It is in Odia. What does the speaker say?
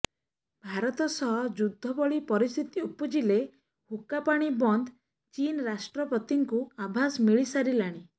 ଭାରତ ସହ ଯୁଦ୍ଧଭଳି ପରିସ୍ଥିତି ଉପୁଜିଲେ ହୁକ୍କା ପାଣି ବନ୍ଦ ଚୀନ୍ ରାଷ୍ଟ୍ରପତିଙ୍କୁ ଆଭାସ ମିଳିସାରିଲାଣି